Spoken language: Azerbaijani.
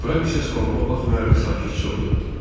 Frank isə sualıma baxmayaraq sakitcə oturdu.